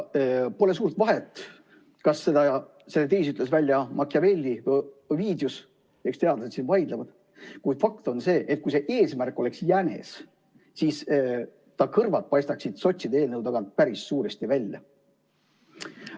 Pole suurt vahet, kas selle teesi ütles välja Machiavelli või Ovidius, eks teadlased siin vaidlevad, kuid fakt on see, et kui see eesmärk oleks jänes, siis ta kõrvad paistaksid sotside eelnõu tagant päris suuresti välja.